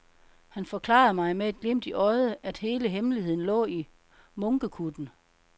Han forklarede mig med et glimt i øjet, at hele hemmeligheden lå i munkekutten.